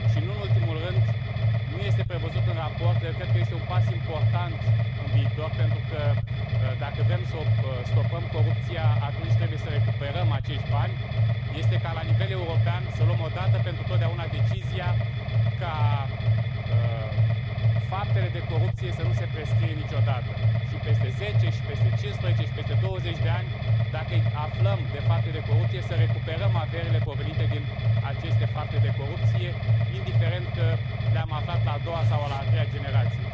Și, nu în ultimul rând nu este prevăzut în raport, dar eu cred că este un pas important în viitor, pentru că dacă vrem să stopăm corupția, atunci trebuie să recuperăm acești bani este ca la nivel european să luăm o dată pentru totdeauna decizia ca faptele de corupție să nu se prescrie niciodată și peste 10 și peste 15 și peste 20 de ani, dacă aflăm de fapte de corupție, să recuperăm averile provenite din aceste fapte de corupție, indiferent că le am aflat la a doua sau la a treia generație.